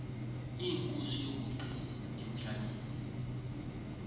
ibhayibhile thabatha omnye